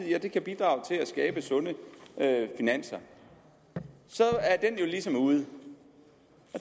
kan bidrage til at skabe sunde finanser så er den jo ligesom ude og